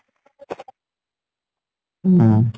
উম